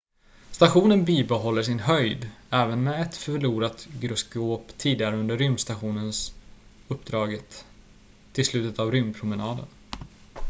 stationen bibehåller sin höjd även med ett förlorat gyroskop tidigare under rymdstations-uppdraget tills slutet av rymdpromenaden